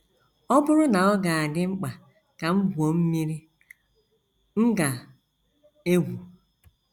“ Ọ Bụrụ na Ọ Ga - adị Mkpa Ka M Gwuo Mmiri, M Ga - egwu ”